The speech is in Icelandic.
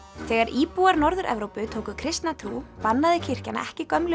þegar íbúar Norður Evrópu tóku kristna trú bannaði kirkjan ekki gömlu